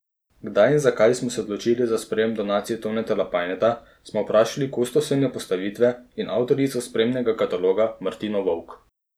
Kdaj in zakaj so se odločili za sprejem donacije Toneta Lapajneta, smo vprašali kustosinjo postavitve in avtorico spremnega kataloga Martino Vovk.